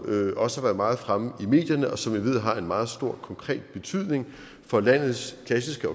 også har været meget fremme i medierne og som jeg ved har en meget stor konkret betydning for landets klassiske